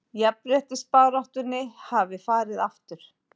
Jafnréttisbaráttunni hafi farið aftur